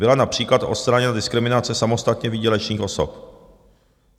Byla například odstraněna diskriminace samostatně výdělečných osob.